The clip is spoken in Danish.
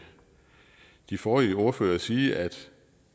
de forrige ordførere sige at